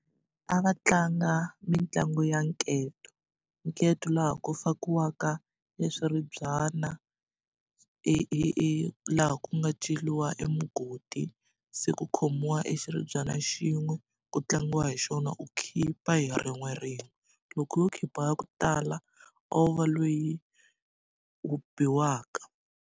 A va tlanga mitlangu ya nketo nketo laha ku fakiwaka e swiribyana e e e laha ku nga ceriwa e mugodi se ku khomiwa e xiribyana xin'we ku tlangiwa hi xona u khipha hi rin'we rin'we loko wo khipha ya ku tala a wu va lweyi u biwaka.